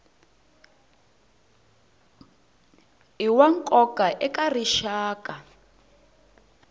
i wa nkoka eka rixaka